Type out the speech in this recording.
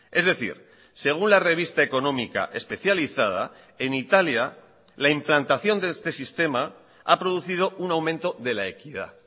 es decir según la revista económica especializada en italia la implantación de este sistema ha producido un aumento de la equidad